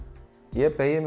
ég beygi mig